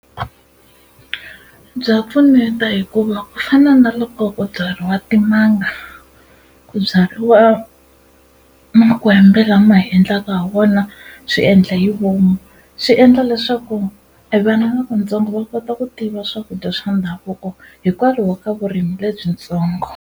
Bya pfuneta hikuva ku fana na loko ku byariwa timanga ku byariwa makwembe lama hi endlaka ha wona swiendla hi vomu swi endla leswaku e vana lavatsongo va kota ku tiva swakudya swa ndhavuko hikwalaho ka vurimi lebyitsongo.